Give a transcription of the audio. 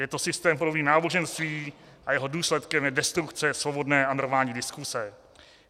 Je to systém podobný náboženství a jeho důsledkem je destrukce svobodné a normální diskuse.